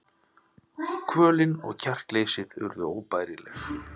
Kvölin og kjarkleysið urðu óbærileg.